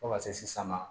Fo ka se san ma